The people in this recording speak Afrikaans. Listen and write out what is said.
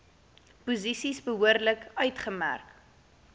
posisies behoorlik uitgemerk